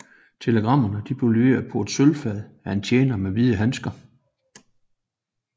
Telegrammer blev leveret på et sølvfad af en tjener med hvide handsker